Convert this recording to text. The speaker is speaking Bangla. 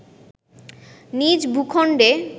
নিজ ভূখণ্ডে